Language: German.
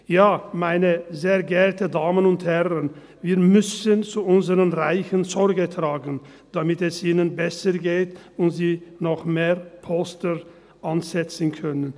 – Ja, meine sehr geehrten Damen und Herren, wir müssen zu unseren Reichen Sorge tragen, damit es ihnen besser geht und sie noch mehr Polster ansetzen können.